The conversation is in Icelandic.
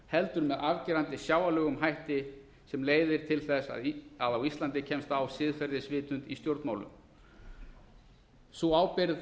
heldur með afgerandi sjáanlegum hætti sem leiðir til þess að á íslandi kemst á siðferðisvitund í stjórnmálum slíka ábyrgð